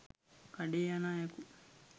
කඩේ යන අයකු